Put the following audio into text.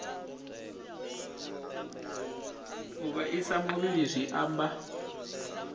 u vhaisa muvhili zwi amba